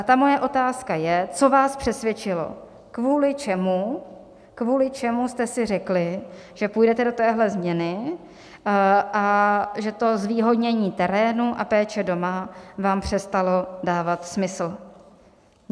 A ta moje otázka je, co vás přesvědčilo, kvůli čemu, kvůli čemu jste si řekli, že půjdete do téhle změny a že to zvýhodnění terénu a péče doma vám přestalo dávat smysl.